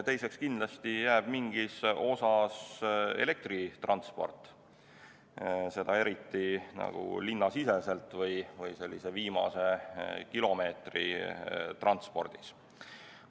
Teiseks, kindlasti jääb mingis osas alles elektritransport, eriti linnasiseselt või n-ö viimase kilomeetri transpordiga seoses.